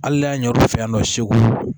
Hali n'a y'a ɲini u fɛ yan nɔ segu